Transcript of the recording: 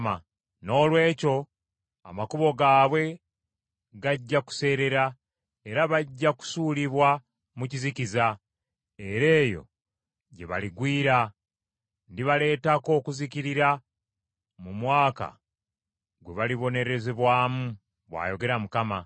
“Noolwekyo amakubo gaabwe gajja kuseerera era bajja kusuulibwa mu kizikiza era eyo gye baligwira. Ndibaleetako okuzikirira mu mwaka gwe balibonerezebwamu,” bw’ayogera Mukama .